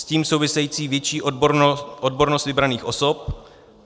S tím související větší odbornost vybraných osob.